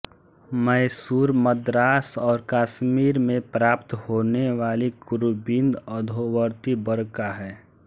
मैसूर मद्रास और कश्मीर में प्राप्त होनेवाली कुरुविंद अधोवर्ती वर्ग का है